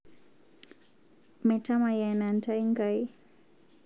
Metamayiana ntai Nkai